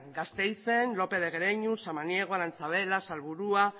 gasteizen lópez de guereñu samaniego arantzabela salburua